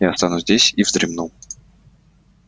я останусь здесь и вздремну